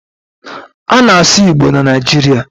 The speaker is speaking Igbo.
a na-asu Igbo na Naijiria